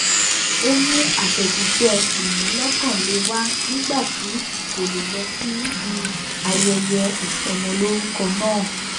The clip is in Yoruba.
ó mú àtẹjíṣẹ ìmúlọkànle wá nígbà tí kò lè lọ síbi ayẹyẹ ìsọmọlórúkọ náà